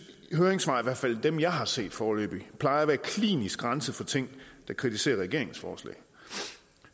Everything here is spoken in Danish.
høringssvar i hvert fald dem jeg har set foreløbig plejer at være klinisk renset for ting der kritiserer regeringens forslag